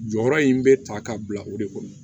Jɔyɔrɔ in bɛ ta ka bila o de kɔnɔ